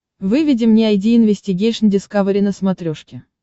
выведи мне айди инвестигейшн дискавери на смотрешке